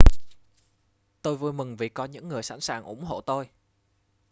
tôi vui mừng vì có những người sẵn sàng ủng hộ tôi